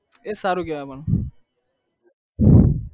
એ સારું કેવાય પણ